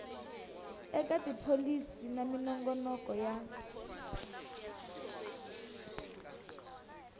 eka tipholisi na minongonoko ya